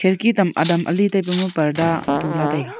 khirki tam adam ale taipa ma parda tula taiga.